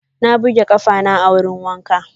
Na buge ƙafana a wurin wanka.